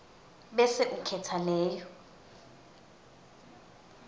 bese ukhetsa leyo